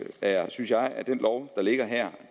derfor synes jeg at den lov er her er